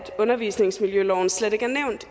undervisningsmiljøloven slet